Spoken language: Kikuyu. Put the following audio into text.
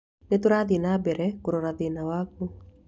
Nĩ tũrathiĩ na mbere kũrora thĩna wakũ.